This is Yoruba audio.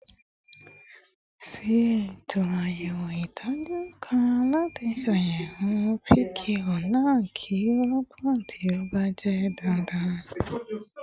Ṣe eto ayẹwo itọju kan lati ṣayẹwo pq naa ki o rọpo ti o ba jẹ dandan